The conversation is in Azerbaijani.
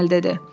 Pakanel dedi.